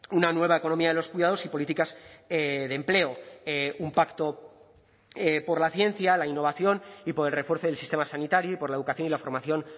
una nueva economía de los cuidados y políticas de empleo un pacto por la ciencia la innovación y por el refuerzo del sistema sanitario y por la educación y la formación